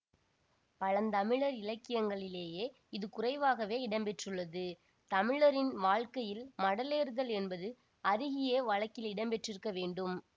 பழந்தமிழர் இலக்கியங்களிலேயே இது குறைவாகவே இடம்பெற்றுள்ளது தமிழரின் வாழ்க்கையில் மடலேறுதல் என்பது அருகியே வழக்கில் இடம்பெற்றிருக்க வேண்டும்